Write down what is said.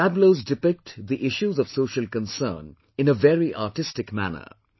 Tableus depict the issues of social concern in a very artistic manner